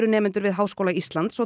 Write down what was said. nemendur við Háskóla Íslands og